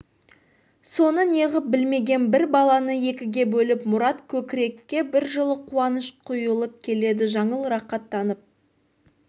соны неғып білмеген бір баланы екіге бөліп мұрат көкірекке бір жылы қуаныш құйылып келеді жаңыл рақаттанып